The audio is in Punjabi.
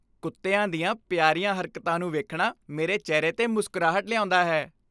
ਕੁੱਤਿਆਂ ਦੀਆਂ ਪਿਆਰੀਆਂ ਹਰਕਤਾਂ ਨੂੰ ਵੇਖਣਾ ਮੇਰੇ ਚਿਹਰੇ 'ਤੇ ਮੁਸਕਰਾਹਟ ਲਿਆਉਂਦਾ ਹੈ।